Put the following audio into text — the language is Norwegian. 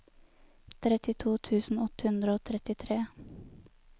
trettito tusen åtte hundre og trettitre